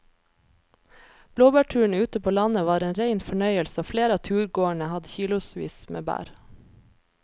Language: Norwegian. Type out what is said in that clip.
Blåbærturen ute på landet var en rein fornøyelse og flere av turgåerene hadde kilosvis med bær.